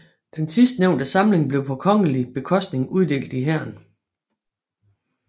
Den sidstnævnte samling blev på kongelig bekostning uddelt i hæren